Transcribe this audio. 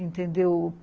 Entendeu?